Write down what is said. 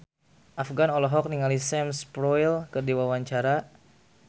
Afgan olohok ningali Sam Spruell keur diwawancara